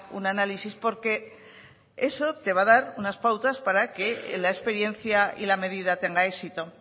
un análisis porque eso te va a dar unas pautas para que la experiencia y la medida tenga éxito